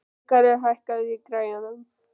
Ríkarður, hækkaðu í græjunum.